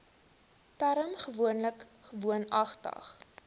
term gewoonlik woonagtig